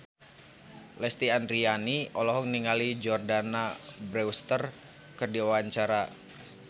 Lesti Andryani olohok ningali Jordana Brewster keur diwawancara